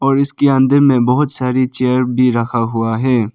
और इसके अंदर में बहुत सारी चेयर भी रखा हुआ है।